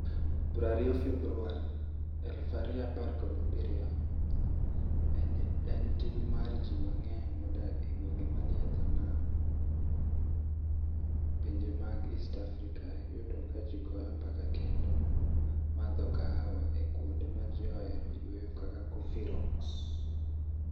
20 Februar 2017 Eni tim ma ji manig'eniy modak e gwenige mani e dho niam e pinije mag East Africa yudo ka ji goyo mbaka kenido madho kahawa e kuonide ma ji oheroe yueyo kaka Coffee Rocks.